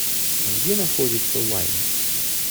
где находится лайм